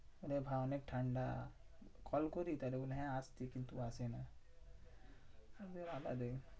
আরে ভাই অনেক ঠান্ডা। কল করি তাহলে বলে হ্যাঁ আসছি কিন্তু আসেনা।